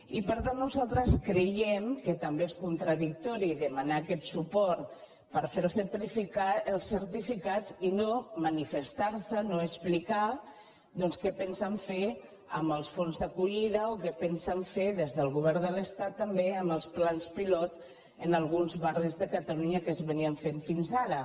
i per tant nosaltres creiem que també és con·tradictori demanar aquest suport per fer els certificats i no manifestar·se no explicar doncs què pensen fer amb els fons d’acollida o què pensen fer des del go·vern de l’estat també amb els plans pilot en alguns barris de catalunya que es feien fins ara